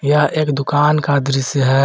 यह एक दुकान का दृश्य है।